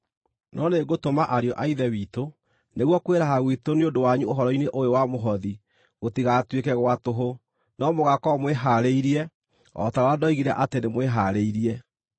No nĩngũtũma ariũ a Ithe witũ nĩguo kwĩraha gwitũ nĩ ũndũ wanyu ũhoro-inĩ ũyũ wa mũhothi gũtigatuĩke gwa tũhũ, no mũgaakorwo mwĩhaarĩirie, o ta ũrĩa ndoigire atĩ nĩmwĩharĩirie.